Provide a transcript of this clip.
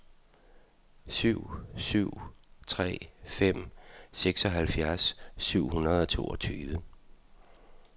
syv syv tre fem seksoghalvfjerds syv hundrede og toogtyve